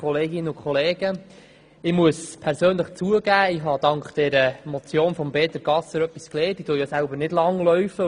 Ich muss persönlich zugeben, dass ich dank der Motion von Peter Gasser etwas gelernt habe, weil ich selber nicht Langlauf betreibe.